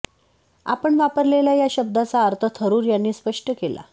आपण वापरलेल्या या शब्दाचा अर्थ थरुर यांनी स्पष्ट केला